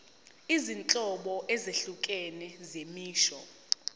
izinhlobo ezahlukene zemisho